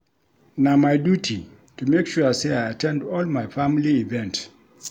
Na my duty to make sure sey I at ten d all my family event.